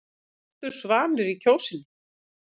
Svartur svanur í Kjósinni